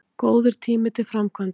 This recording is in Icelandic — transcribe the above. Góður tími til framkvæmda